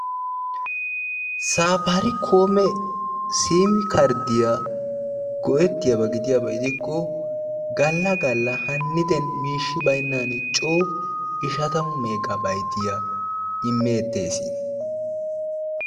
safarikoome siimi karddiyaa go''etiyaaba gidikko galla galla haniden miishshi baynnan coo ishshatamu meega bayttiyaa immeettees.